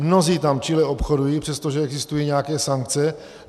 Mnozí tam čile obchodují, přestože existují nějaké sankce.